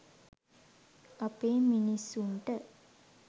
අපේ මිනිස්සුන්ට